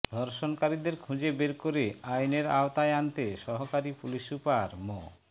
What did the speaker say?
ধর্ষণকারীদের খুঁজে বের করে আইনের আওতায় আনতে সহকারী পুলিশ সুপার মো